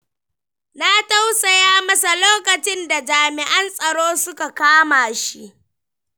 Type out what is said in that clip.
Na tausaya masa lokacin da jami'an tsaro suka kama shi.